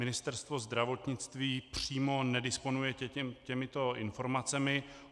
Ministerstvo zdravotnictví přímo nedisponuje těmito informacemi.